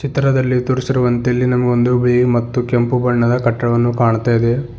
ಚಿತ್ರದಲ್ಲಿ ತೋರಿಸಿರುವಂತೆ ಇಲ್ಲಿ ನಮಗೆ ಒಂದು ಬಿಳಿ ಮತ್ತು ಕೆಂಪು ಬಣ್ಣದ ಕಟ್ಟಡವನ್ನು ಕಾಣ್ತಾ ಇದೆ.